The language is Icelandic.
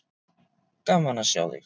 Gaman að sjá þig.